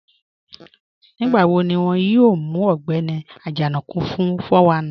Nígbàwò̀ ní wọn yóò mù Ọ̀gbẹni Ajanaku fún 419?